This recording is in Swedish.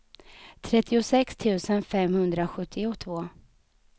trettiosex tusen femhundrasjuttiotvå